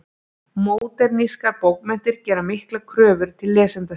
Módernískar bókmenntir gera miklar kröfur til lesenda sinna.